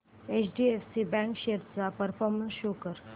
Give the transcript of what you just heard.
HDFC bank shares चा performance show कर